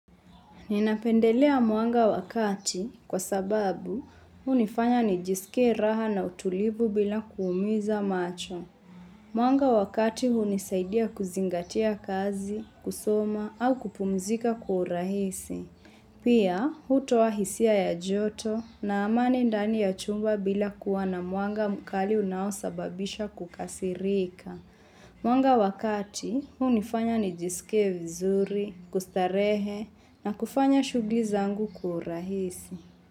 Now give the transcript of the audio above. Ninapendelea mwanga wakati kwa sababu unifanya nijisike raha na utulivu bila kuumiza macho. Mwanga wakati unisaidia kuzingatia kazi, kusoma au kupumzika kwa urahisi. Pia, hutoa hisia ya joto na amani ndani ya chumba bila kuwa na mwanga mkali unao sababisha kukasirika. Mwanga wakati, huu nifanya nijisike vizuri, kustarehe na kufanya shughuli zangu kwa urahisi.